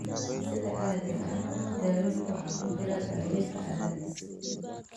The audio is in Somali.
Sida caadiga ah daawaynta waxaa ku jira daawaynta cadaadis.